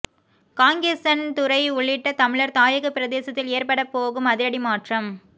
காங்கேசன்துறை உள்ளிட்ட தமிழர் தாயகப் பிரதேசத்தில் ஏற்படப் போகும் அதிரடி மாற்றம்